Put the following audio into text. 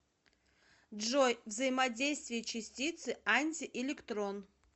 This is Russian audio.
джой взаимодействие частицы антиэлектрон